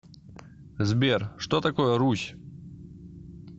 сбер что такое русь